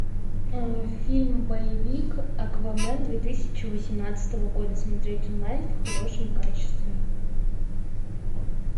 фильм боевик аквамен две тысячи восемнадцатого года смотреть онлайн в хорошем качестве